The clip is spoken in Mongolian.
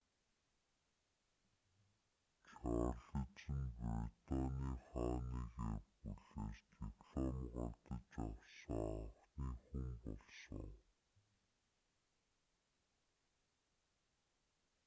чарлиз нь британы хааны гэр бүлээс диплом гардаж авсан анхны хүн болсон